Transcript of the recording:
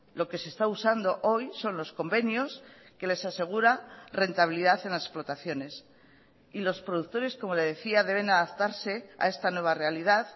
lo que se está usando hoy son los convenios que les asegura rentabilidad en las explotaciones y los productores como le decía deben adaptarse a esta nueva realidad